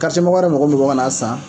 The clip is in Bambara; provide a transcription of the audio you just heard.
Karitiyemɔgɔ wɛrɛ mɔgɔ min bɔ ka na san,